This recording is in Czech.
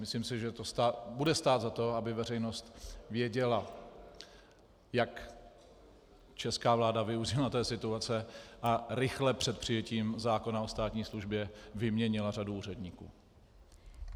Myslím si, že to bude stát za to, aby veřejnost věděla, jak česká vláda využila té situace a rychle před přijetím zákona o státní službě vyměnila řadu úředníků.